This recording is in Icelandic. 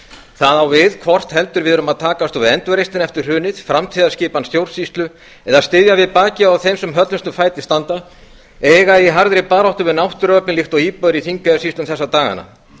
það á við hvort heldur við erum að takast á við endurreisnina eftir hrunið framtíðarskipan stjórnsýslu eða að styðja við bakið á þeim sem höllustum fæti standa eða eiga í baráttu við náttúruöflin líkt og íbúar í þingeyjarsýslum þessa dagana